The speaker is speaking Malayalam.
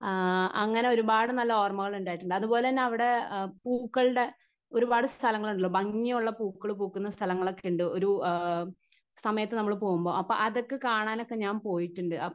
സ്പീക്കർ 1 ആ അങ്ങനെ ഒരുപാട് നല്ല ഓർമ്മകൾ ഉണ്ടായിട്ടുണ്ട് അതുപോലെതന്നെ അവിടെ പൂക്കളുടെ ഒരുപാട് സ്ഥലങ്ങളുള്ള ഭംഗിയുള്ള പൂക്കള് പൂക്കുന്ന സ്ഥലങ്ങളൊക്കെ ണ്ടു ആ സമയത് പോകുമ്പോ അപ്പൊ അതൊക്കെ കാണാനൊക്കെ ഞാൻ പോയിട്ടുണ്ട്.